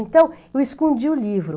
Então eu escondia o livro.